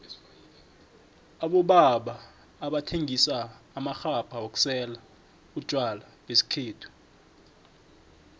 abobaba abathengisa amaxhabha wokusela utjwala besikhethu